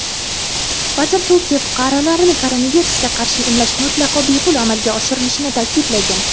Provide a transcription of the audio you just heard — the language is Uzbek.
vazir Turkiya fuqarolarini koronavirusga qarshi emlash mutlaqo bepul amalga oshirilishini ta’kidlagan.